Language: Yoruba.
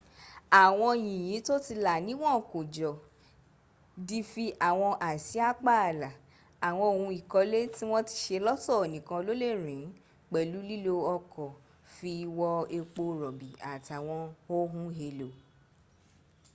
àwọn yìnyín tó ti là níwọn kó jọ dí fi àwọn àsìá pààlà àwọn ohun ìkọlẹ̀ tí wọ́n ti se lọ́tọ̀ nìkan ló lè rìn ín pẹ̀lú lílo ọkọ̀ fi wọ́ epo rọ̀bì àtàwọn ohun èlò